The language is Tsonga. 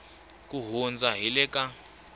ku hundza hi le ka